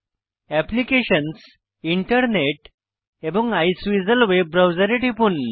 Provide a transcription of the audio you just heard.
applications internet এবং Iceweasel web ব্রাউসের এ টিপুন